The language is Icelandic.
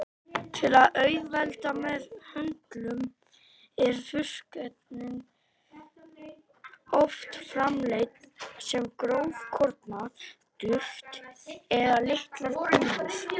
Til að auðvelda meðhöndlun eru þurrkefnin oft framleidd sem grófkorna duft eða litlar kúlur.